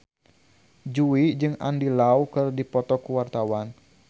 Jui jeung Andy Lau keur dipoto ku wartawan